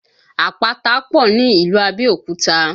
Àpáta pọ̀ ní ìlú Abẹ́òkúta